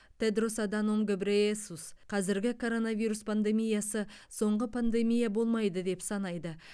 тедрос аданом гебрейесус қазіргі коронавирус пандемиясы соңғы пандемия болмайды деп санайды